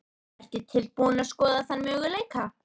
Ertu tilbúin að skoða þann möguleika?